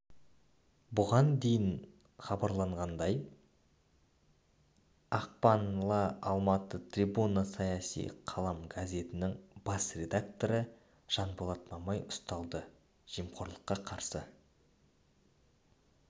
бұған дейін хабарланғандай ақпанла алматыда трибуна саяси қалам газетінің бас редакторы жанболат мамай ұсталды жемқорлыққа қарсы